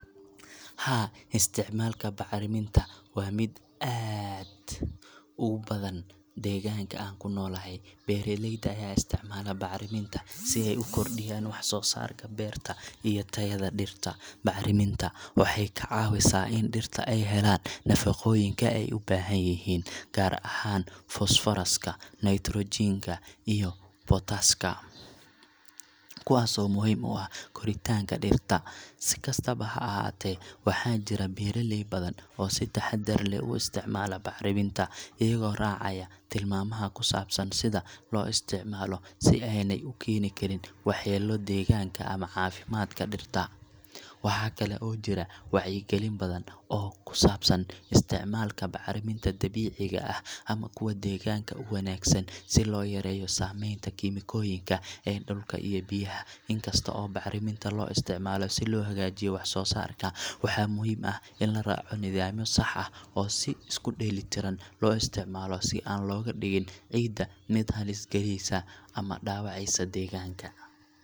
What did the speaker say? Haa, isticmaalka bacriminta waa mid aad u badan deegaanka aan ku noolahay. Beeralayda ayaa isticmaala bacriminta si ay u kordhiyaan wax-soo-saarka beerta iyo tayada dhirta. Bacriminta waxay ka caawisaa in dhirta ay helaan nafaqooyinka ay u baahan yihiin, gaar ahaan fosfooraska, nitrogen ka, iyo potash ka, kuwaasoo muhiim u ah koritaanka dhirta. Si kastaba ha ahaatee, waxaa jira beeralay badan oo si taxadar leh u isticmaala bacriminta, iyagoo raacaya tilmaamaha ku saabsan sida loo isticmaalo si aanay u keeni karin waxyeello deegaanka ama caafimaadka dhirta. Waxaa kale oo jira wacyigelin badan oo ku saabsan isticmaalka bacriminta dabiiciga ah ama kuwa deegaanka u wanaagsan, si loo yareeyo saamaynta kiimikooyinka ee dhulka iyo biyaha. In kasta oo bacriminta loo isticmaalo si loo hagaajiyo wax-soo-saarka, waxaa muhiim ah in la raaco nidaamyo sax ah oo si isku dheelitiran loo isticmaalo, si aan looga dhigin ciidda mid halis galaysa ama dhaawacaysa deegaanka.